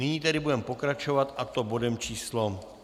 Nyní tedy budeme pokračovat, a to bodem číslo